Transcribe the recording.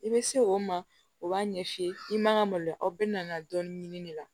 I bɛ se o ma o b'a ɲɛ f'i ye i man ka maloya aw bɛ na dɔɔnin ɲini de la